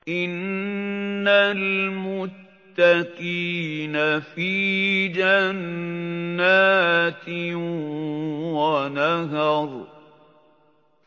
إِنَّ الْمُتَّقِينَ فِي جَنَّاتٍ وَنَهَرٍ